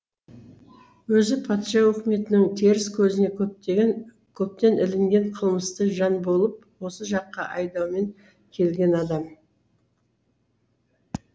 өзі патша өкіметінің теріс көзіне көптен ілінген қылмысты жан болып осы жаққа айдаумен келген адам